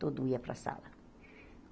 Todo ia para a sala.